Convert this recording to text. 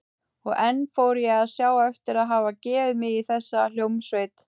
Og enn fór ég að sjá eftir að hafa gefið mig í þessa hljómsveit.